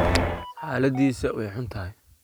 Haladhisa way xuntahy.